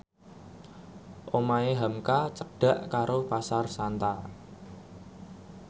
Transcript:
omahe hamka cedhak karo Pasar Santa